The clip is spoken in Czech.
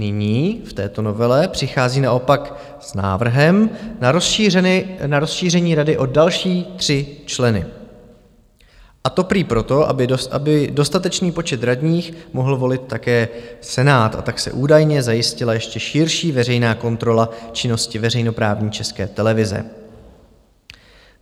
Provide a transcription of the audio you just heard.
Nyní v této novele přichází naopak s návrhem na rozšíření rady o další tři členy, a to prý proto, aby dostatečný počet radních mohl volit také Senát, a tak se údajně zajistila ještě širší veřejná kontrola činnosti veřejnoprávní České televize.